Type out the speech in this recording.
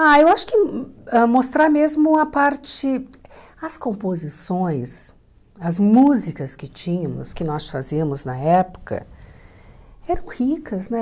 Ah, eu acho que ãh mostrar mesmo a parte, as composições, as músicas que tínhamos, que nós fazíamos na época, eram ricas, né?